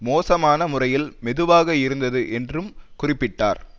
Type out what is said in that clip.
மோசமான முறையில் மெதுவாக இருந்தது என்றும் குறிப்பிட்டார்